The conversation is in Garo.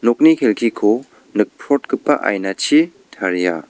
nokni kelkiko nikprotgipa ainachi taria.